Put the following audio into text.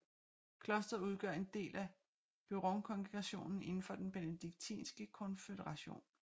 Klosteret udgør en del af Beuronkongreationen indenfor den Benediktinske Konføderation